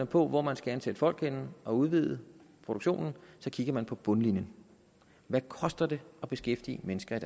på hvor man skal ansætte folk henne og udvide produktionen så kigger man på bundlinjen hvad koster det at beskæftige mennesker i